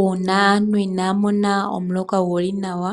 Uuna aantu inaya mona omuloka guli nawa,